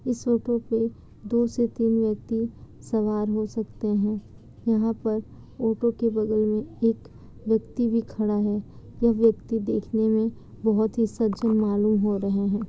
इस ऑटो पे दो से तीन व्यक्ति सवार हो सकते हैं यहाँ पर ऑटो के बगल में एक व्यक्ति भी खड़ा है यह व्यक्ति देखने में बहोत ही सज्जन मालूम हो रहे हैं ।